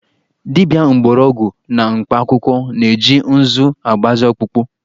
Dibia mgbọrọgwụ na mkpakwụkwọ na-eji ǹzú agbazị ọkpụkpọ